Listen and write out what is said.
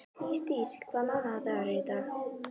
Ísdís, hvaða mánaðardagur er í dag?